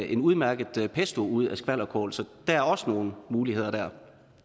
en udmærket pesto ud af skvalderkål så der er også nogle muligheder dér